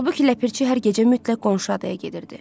Halbuki Ləpirçi hər gecə mütləq qonşu adaya gedirdi.